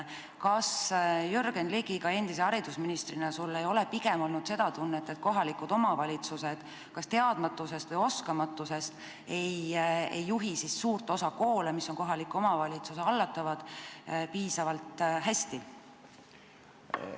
Kas sul, Jürgen Ligi, endise haridusministrina ei ole olnud seda tunnet, et kohalikud omavalitsused kas teadmatusest või oskamatusest ei juhi suurt osa koole, mis on kohaliku omavalitsuse hallatavad, piisavalt hästi?